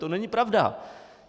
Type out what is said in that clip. To není pravda!